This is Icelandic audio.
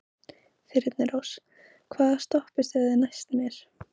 Þyrnirós, hvaða stoppistöð er næst mér?